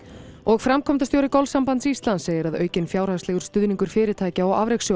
framkvæmdastjóri golfsambands Íslands segir að aukinn fjárhagslegur stuðningur fyrirtækja og